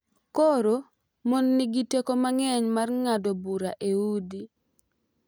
Koro mon nigi teko mang’eny mar ng’ado bura e udi .